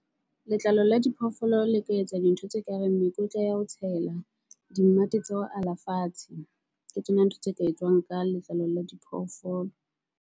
Letlalo la diphoofolo le ka etsa dintho tse kareng mekotla ya ho tshela di mmate tsa ho ala fatshe. Ke tsona ntho tse ka etswang ka letlalo la diphoofolo.